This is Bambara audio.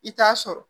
I t'a sɔrɔ